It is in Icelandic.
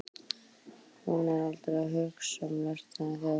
Hún segist aldrei hugsa um lesendur þegar hún skrifi.